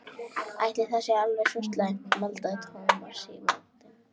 Ætli það sé alveg svo slæmt maldaði Thomas í móinn.